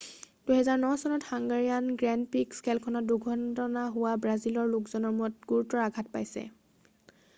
2009 চনৰ হাঙ্গাৰীয়না grand prix খেলখনত দুৰ্ঘটনা হোৱাত ব্ৰাজিলৰ লোকজনে মূৰত গুৰুতৰ আঘাত পাইছে